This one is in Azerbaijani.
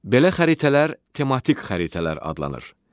Belə xəritələr tematik xəritələr adlanır.